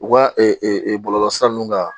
U ka bɔlɔlɔ sira ninnu kan